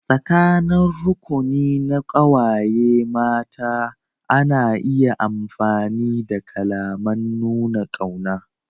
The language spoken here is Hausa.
Tsakanin rukuni na ƙawaye mata ana iya amfani da kalaman nuna ƙauna.